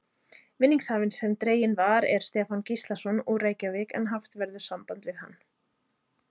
Vinningshafinn sem dreginn var er Stefán Gíslason, úr Reykjavík en haft verður samband við hann.